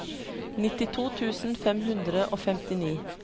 nittito tusen fem hundre og femtini